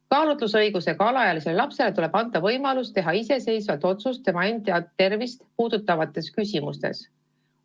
Kaalutlusõigusega alaealisele lapsele tuleb anda võimalus teha iseseisvalt otsust tema enda tervist puudutavates küsimustes.